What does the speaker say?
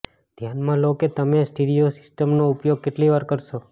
ધ્યાનમાં લો કે તમે સ્ટીરિયો સિસ્ટમનો ઉપયોગ કેટલી વાર કરશો